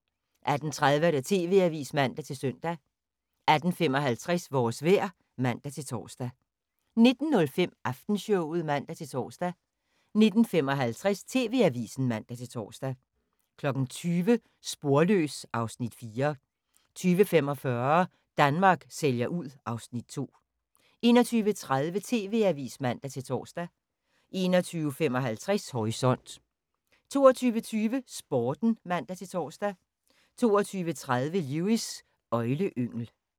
18:30: TV-avisen (man-søn) 18:55: Vores vejr (man-tor) 19:05: Aftenshowet (man-tor) 19:55: TV-avisen (man-tor) 20:00: Sporløs (Afs. 4) 20:45: Danmark sælger ud (Afs. 2) 21:30: TV-avisen (man-tor) 21:55: Horisont 22:20: Sporten (man-tor) 22:30: Lewis: Øgleyngel